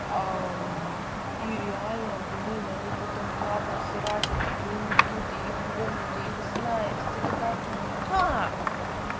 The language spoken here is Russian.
и реально блин они потом платно херачат и к ним идут и их помнят и их знают и ты такая блять как